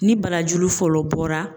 Ni barajuru fɔlɔ bɔra